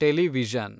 television